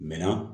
Mɛ na